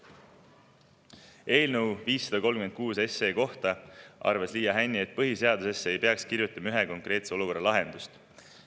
Eelnõu 536 kohta arvas Liia Hänni, et põhiseadusesse ei peaks kirjutama ühe konkreetse olukorra lahendust.